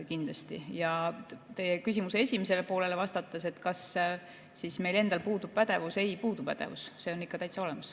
Ja vastates teie küsimuse esimesele poolele, kas meil endal puudub pädevus: ei puudu pädevus, see on ikka täitsa olemas.